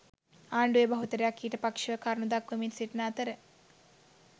ආණ්ඩුවේ බහුතරයක් ඊට පක්‍ෂව කරුණු දක්වමින් සිටින අතර